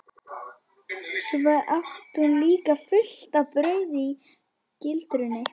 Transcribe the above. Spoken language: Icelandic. Svo át hún líka fullt af brauði í gildrunni.